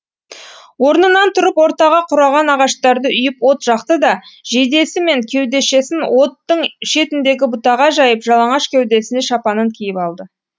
орнынан тұрып ортаға қураған ағаштарды үйіп от жақты да жейдесі мен кеудешесін оттың шетіндегі бұтаға жайып жалаңаш кеудесіне шапанын киіп алды